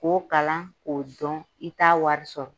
K'o kalan k'o dɔn, i t'a wari sɔrɔ.